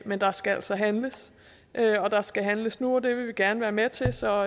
men der skal altså handles og der skal handles nu og det vil vi gerne være med til så